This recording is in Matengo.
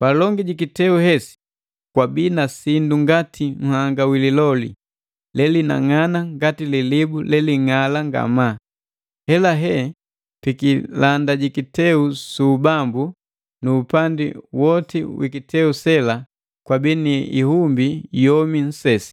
Palongi ji kiteu hesi kwabii na sindu ngati nhanga wi liloli, lelinang'ana ngati lilibu leling'ala ngamaa. Helahe pikilanda ji kiteu su ubambu nu upandi woti wi kiteu sela kwabii ni ihumbi yomi nsesi.